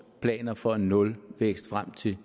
planer for en nulvækst frem til